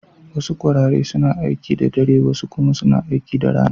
Wasu kwarare suna aiki da dare, wasu kuma suna aiki da rana.